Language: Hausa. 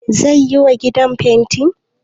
Zai yiwa gidan fenti?